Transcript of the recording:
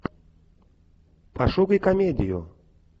пошукай комедию